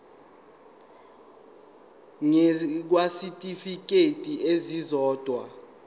ngur kwisitifikedi esisodwa